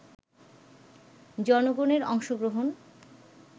জনগণের অংশগ্রহণ